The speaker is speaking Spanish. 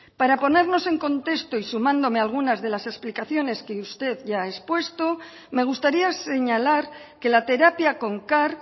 para ponernos en contexto y sumándome algunas de las explicaciones que usted ya ha expuesto me gustaría señalar que la terapia con car